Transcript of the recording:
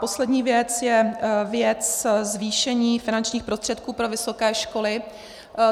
Poslední věc je věc zvýšení finančních prostředků pro vysoké školy.